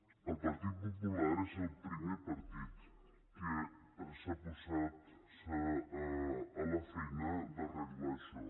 el partit popular és el primer partit que s’ha posat a la feina d’arreglar això